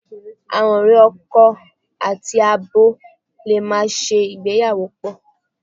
Àwọn ọ̀rẹ́ akọ àti abo lè máa ṣe ìgbéyàwó pọ̀.